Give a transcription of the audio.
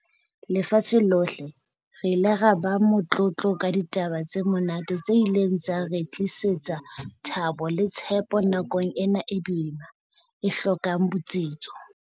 lefatshe lohle, re ile ra ba motlotlo ka ditaba tse monate tse ileng tsa re tlisetsa thabo le tshepo nakong ena e boima, e hlokang botsitso.